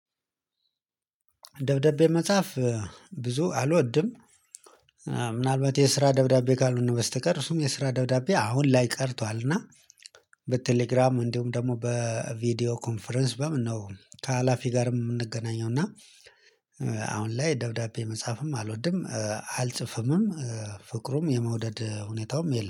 ደብዳቤ መጻፍ ብዙ አልወድም። ምናልባት የስራ ደብዳቤ ካልሆነ በስተቀር እሱም የስራ ደብዳቤ አሁን ላይ ቀርቷል እና በቴሌግራም እንዲሁም ደግሞ በቪዲዮ ኮንፈረንስ በምን ነው ከሀላፊ ጋርም የምንገናኘው። እና አሁን ላይ ደብዳቤ መጻፍም አልወድም አልጽፍምም። ፍቅሩም የመውደድ ሁኔታውም የለም